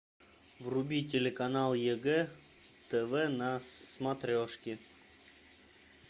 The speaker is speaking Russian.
вруби телеканал егэ тв на смотрешке